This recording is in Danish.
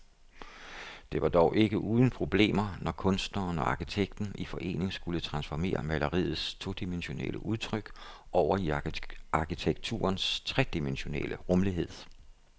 Det var dog ikke uden problemer, når kunstneren og arkitekten i forening skulle transformere maleriets todimensionelle udtryk over i arkitekturens tredimensionelle rumlighed.